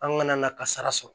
An kana na kasara sɔrɔ